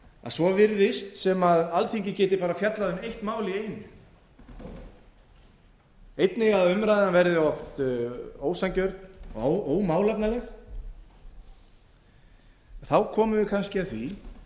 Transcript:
að svo virðist sem alþingi geti bara fjallað um eitt mál í einu einnig að umræðan verði oft ósanngjörn og ómálefnaleg þá komum við kannski að því að